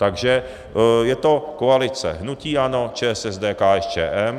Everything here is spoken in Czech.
Takže je to koalice hnutí ANO, ČSSD, KSČM.